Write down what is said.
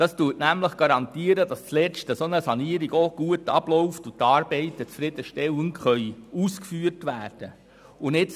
Damit wird garantiert, dass eine Sanierung schlussendlich gut abläuft und die Arbeiten zufriedenstellend ausgeführt werden können.